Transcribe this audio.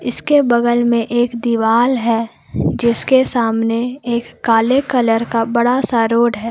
इसके बगल में एक दीवाल है जिसके सामने एक काले कलर का बड़ा सा रोड है।